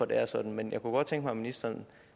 det er sådan men jeg kunne godt tænke mig at ministeren